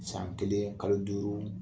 San kelen kalo duuru